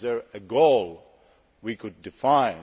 Is there a goal we could define?